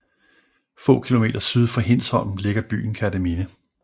Få kilometer syd for Hindsholm ligger byen Kerteminde